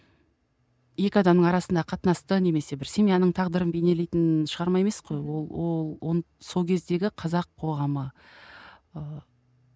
екі адамның арасындағы қатынасты немесе бір семьяның тағдырын бейнелейтін шығарма емес қой ол ол ол сол кездегі қазақ қоғамы ыыы